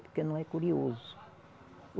Porque não é curioso.